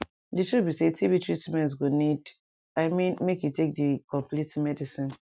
di truth be saytb treatment go need i mean make you take di complete medicine